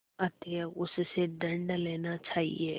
अतएव उससे दंड लेना चाहिए